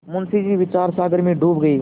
मुंशी जी विचारसागर में डूब गये